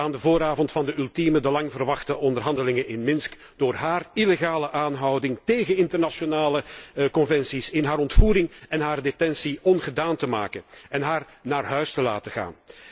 aan de vooravond van de ultieme, langverwachte onderhandelingen in Minsk door haar illegale aanhouding, tegen internationale conventies in, haar ontvoering en haar detentie ongedaan te maken en haar naar huis te laten gaan.